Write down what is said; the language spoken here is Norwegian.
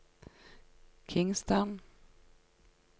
Kingstown